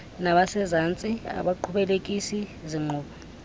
nabasezantsi abaqhubekekisi zinkqubo